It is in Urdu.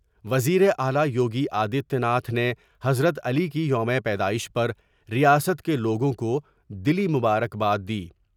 وزیراعلی یوگی آدتیہ ناتھ نے حضرت علی کی یوم پیدائش پر ریاست کے لوگوں کو دلی مبارکباد دی ۔